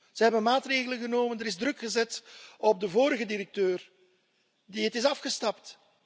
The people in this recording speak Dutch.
Ze hebben maatregelen genomen, er is druk gezet op de vorige directeur en die is opgestapt.